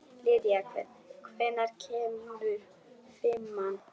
Lýdía, hvenær kemur fimman?